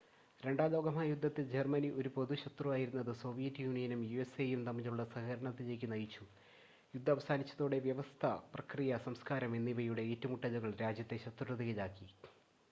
രണ്ടാം ലോക മഹായുദ്ധത്തിൽ ജർമ്മനി ഒരു പൊതു ശത്രുവായിരുന്നത് സോവിയറ്റ് യൂണിയനും യുഎസ്എയും തമ്മിലുള്ള സഹകരണത്തിലേക്ക് നയിച്ചു യുദ്ധം അവസാനിച്ചതോടെ വ്യവസ്ഥ പ്രക്രിയ സംസ്കാരം എന്നിവയുടെ ഏറ്റുമുട്ടലുകൾ രാജ്യങ്ങളെ ശത്രുതയിലാക്കി